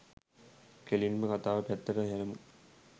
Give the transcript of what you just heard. කෙලින්ම කතාව පැත්තට හැරෙමු.